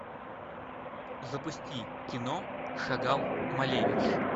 запусти кино шагал малевич